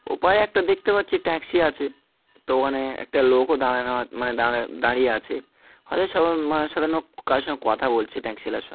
ওপারে একটা দেখতে পাচ্ছি ট্যাক্সি আছে তো ওখানে একটা লোকও দাঁড়ানো দাড়াইয়ে মানে দাঁড়িয়ে আছে হয়তো কারোর সাথে কথা বলছে ট্যাক্সি ওয়ালার সঙ্--।